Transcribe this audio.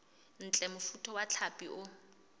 ntle mofuta wa hlapi o